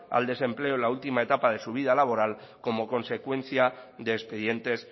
al desempleo en la última etapa de su vida laboral como consecuencia de expedientes